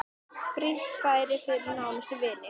Frítt fæði fyrir nánustu vini.